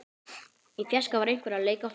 Í fjarska var einhver að leika á flautu.